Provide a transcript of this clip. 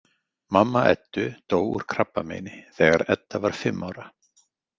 Mamma Eddu dó úr krabbameini þegar Edda var fimm ára.